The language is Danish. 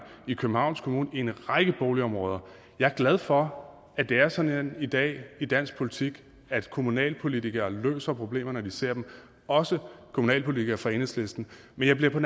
i københavns kommune i en række boligområder jeg er glad for at det er sådan i dag i dansk politik at kommunalpolitikere løser problemer når de ser dem også kommunalpolitikere fra enhedslisten men jeg bliver på